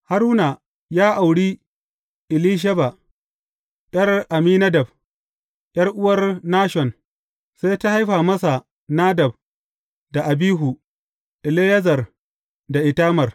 Haruna ya auri Elisheba, ’yar Amminadab, ’yar’uwar Nashon, sai ta haifa masa Nadab da Abihu, Eleyazar da Itamar.